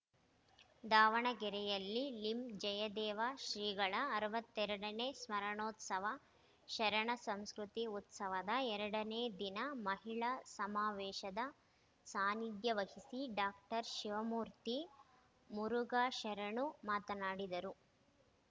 ದಾವಣಗೆರೆಯಲ್ಲಿ ಲಿಂಜಯದೇವ ಶ್ರೀಗಳ ಅರವತ್ತೆರಡನೇ ಸ್ಮರಣೋತ್ಸವ ಶರಣ ಸಂಸ್ಕೃತಿ ಉತ್ಸವದ ಎರಡನೇ ದಿನ ಮಹಿಳಾ ಸಮಾವೇಶದ ಸಾನಿಧ್ಯ ವಹಿಸಿ ಡಾಕ್ಟರ್ ಶಿವಮೂರ್ತಿ ಮುರುಘಾ ಶರಣರು ಮಾತನಾಡಿದರು